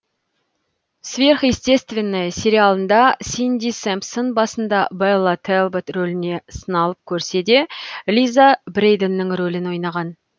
сверхъестественное сериалында синди сэмпсон басында бэлла тэлбот роліне сыналып көрседе лиза брэйданның ролін ойнаған